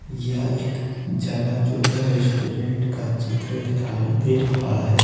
यह एक जलाजोगा रेस्टोरेंट का चित्र दिखाई दे रहा है।